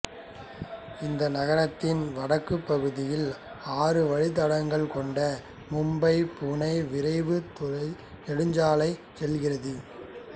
இந்நகரத்தின் வடக்குப் பகுதியில் ஆறு வழித்தடங்கள் கொண்ட மும்பைபுனே விரைவு நெடுஞ்சாலை செல்கிறது